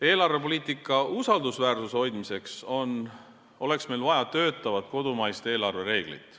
Eelarvepoliitika usaldusväärsuse hoidmiseks oleks meil vaja töötavat kodumaist eelarvereeglit.